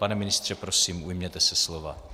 Pane ministře, prosím, ujměte se slova.